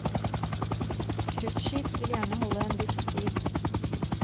Cruiseskip vil gjerne holde en viss stil.